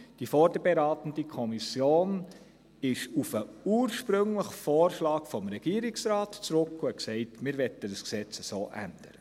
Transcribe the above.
Die vorberatende Kommission ging zum ursprünglichen Vorschlag des Regierungsrates zurück und sagte: «Wir möchten dieses Gesetz so ändern.»